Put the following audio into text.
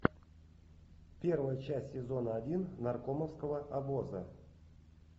первая часть сезона один наркомовского обоза